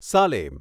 Salem